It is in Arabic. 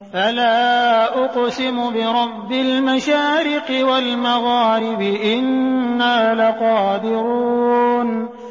فَلَا أُقْسِمُ بِرَبِّ الْمَشَارِقِ وَالْمَغَارِبِ إِنَّا لَقَادِرُونَ